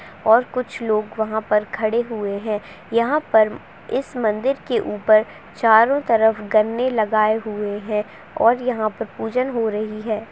और कुछ लोग वहाँ पर खड़े हुए हैं। यहाँ पर इस मंदिर के उपर चारो तरफ गन्ने लगाए हुए हैं और यहाँ पर पूजन हो रही है।